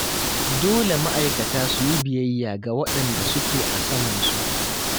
Dole ma'aikata su yi biyayya ga waɗanda suke a samansu.